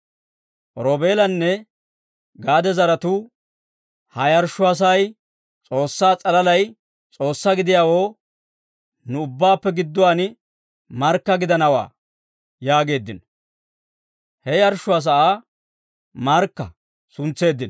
Roobeelanne Gaade zaratuu, «Ha yarshshuwaa sa'ay S'oossaa s'alaalay S'oossaa gidiyaawoo nu ubbaappe gidduwaan markka gidanawaa» yaageeddino; he yarshshuwaa sa'aa Markka suntseeddino.